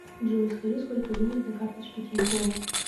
джой скажи сколько денег на карточке тинькова